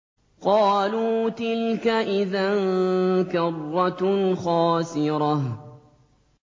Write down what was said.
قَالُوا تِلْكَ إِذًا كَرَّةٌ خَاسِرَةٌ